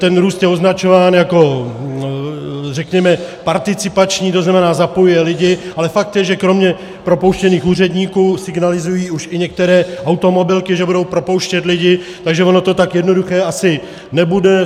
Ten růst je označován jako, řekněme, participační, to znamená, zapojuje lidi, ale fakt je, že kromě propouštěných úředníků signalizují už i některé automobilky, že budou propouštět lidi, takže ono to tak jednoduché asi nebude.